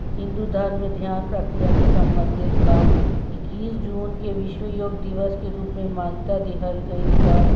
हिंदू धर्म में ध्यान प्रक्रिया से संबंधित बा इक्कीस जून के विश्व योग दिवस के रूप में मान्यता देहल गइल बा।